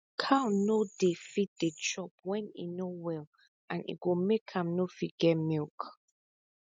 cow no dey fit dey chop when e no well and e go make am no fit get milk